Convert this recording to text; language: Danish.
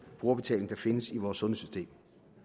brugerbetaling der findes i vores sundhedssystem